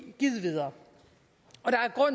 givet videre